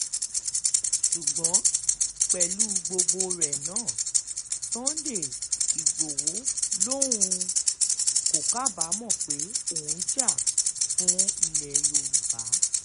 ṣùgbọ́n pẹ̀lú gbogbo rẹ̀ náà sunday igbodò lòun um kò kábàámọ̀ pé òun jà um fún ilẹ̀ yorùbá